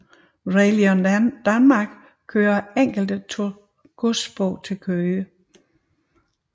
Railion Danmark kører enkelte godstog til Køge